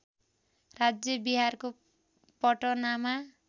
राज्य बिहारको पटनामा